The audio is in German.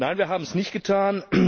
Nein, wir haben es nicht getan.